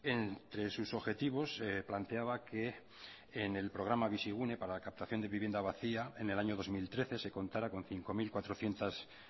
entre sus objetivos planteaba que en el programa bizigune para captación de vivienda vacía en el año dos mil trece se contara con cinco mil cuatrocientos